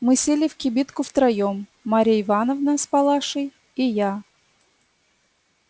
мы сели в кибитку втроём марья ивановна с палашей и я